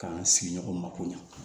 K'an sigi ɲɔgɔn ma ko ɲɛ